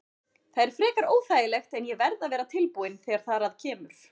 Það er frekar óþægilegt en ég verð að vera tilbúinn þegar þar að kemur.